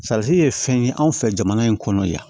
ye fɛn ye anw fɛ jamana in kɔnɔ yan